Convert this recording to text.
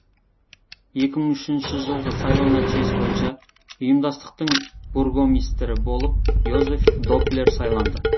екі мың үшінші жылғы сайлау нәтижесі бойынша ұйымдастықтың бургомистрі болып йозеф доплер сайланды